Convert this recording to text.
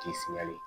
K'i fiyɛli